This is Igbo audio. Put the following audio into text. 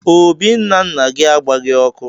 Obì nna nna gị agbaghị ọkụ.